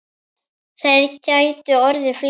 Þeir gætu orðið fleiri.